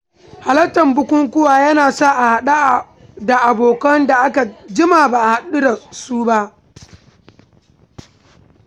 Halartar bukukuwa yana sa a haɗu da abokan da aka jima ba a haɗu ba.